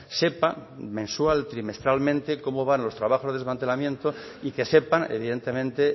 sepa mensual trimestralmente cómo van los trabajos de desmantelamiento y que sepan evidentemente